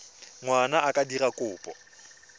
ngwana a ka dira kopo